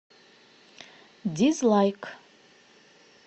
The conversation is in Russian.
дизлайк